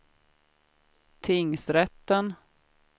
tingsrätten